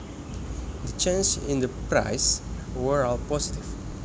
The changes in the prices were all positive